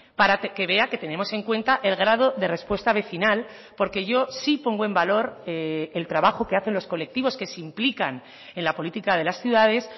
para que vea que tenemos en cuenta el grado de respuesta vecinal porque yo sí pongo en valor el trabajo que hacen los colectivos que se implican en la política de las ciudades